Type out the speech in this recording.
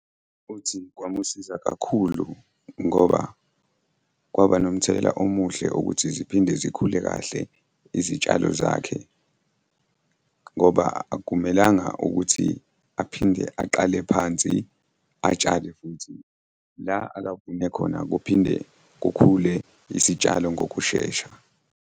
Uthi kwamusiza kakhulu ngoba kwaba nomthelela omuhle ukuthi ziphinde zikhule kahle izitshalo zakhe, ngoba akumelanga ukuthi aphinde aqale phansi atshale futhi. La akavune khona kuphinde kukhule isitshalo ngokushesha.